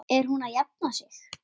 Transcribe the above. Er hún að jafna sig?